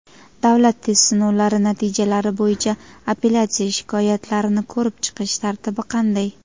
Davlat test sinovlari natijalari bo‘yicha apellyatsiya shikoyatlarini ko‘rib chiqish tartibi qanday?.